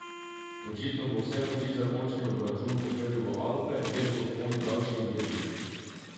Očitno bo vse moči za končni obračun usmeril v Alpe, kjer so vzponi daljši in težji.